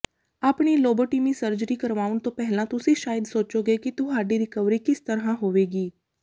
ਆਪਣੀ lobotomy surgery ਕਰਵਾਉਣ ਤੋਂ ਪਹਿਲਾਂ ਤੁਸੀਂ ਸ਼ਾਇਦ ਸੋਚੋਗੇ ਕਿ ਤੁਹਾਡੀ ਰਿਕਵਰੀ ਕਿਸ ਤਰ੍ਹਾਂ ਹੋਵੇਗੀ